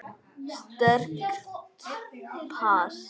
Sterkt pass.